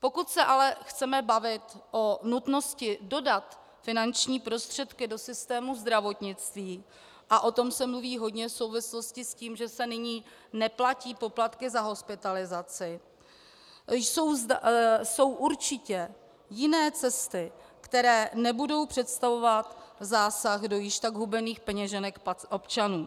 Pokud se ale chceme bavit o nutnosti dodat finanční prostředky do systému zdravotnictví, a o tom se mluví hodně v souvislosti s tím, že se nyní neplatí poplatky za hospitalizaci, jsou určitě jiné cesty, které nebudou představovat zásah do již tak hubených peněženek občanů.